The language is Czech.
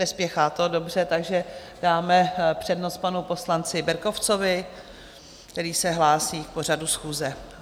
Nespěchá to, dobře, takže dáme přednost panu poslanci Berkovcovi, který se hlásí k pořadu schůze.